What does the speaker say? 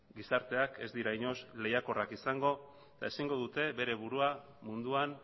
gizarteak ez dira inoiz lehiakorrak izango ezingo dute bere burua munduan